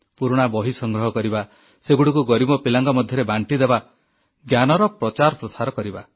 ପୁରୁଣା ବହି ସଂଗ୍ରହ କରିବା ସେଗୁଡ଼ିକୁ ଗରିବ ପିଲାଙ୍କ ମଧ୍ୟରେ ବାଂଟିଦେବା ଜ୍ଞାନର ପ୍ରଚାର ପ୍ରସାର କରିବା